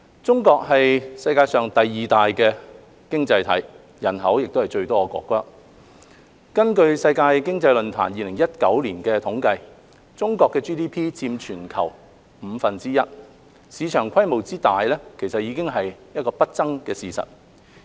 中國是世界上第二大的經濟體，亦是人口最多的國家，根據世界經濟論壇2019年的統計，中國的 GDP 佔全球約五分之一，市場規模之大已是不爭的事實。